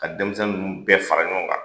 Ka denmisɛnnin ninnu bɛɛ fara ɲɔgɔn kan